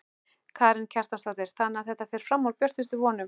Karen Kjartansdóttir: Þannig að þetta fer fram úr björtustu vonum?